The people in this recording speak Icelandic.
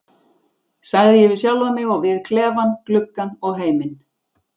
sagði ég við sjálfan mig, og við klefann, gluggann og heiminn.